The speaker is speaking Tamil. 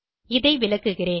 இதை விளக்குகிறேன்